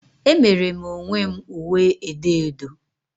Emere m onwe m uwe edo odo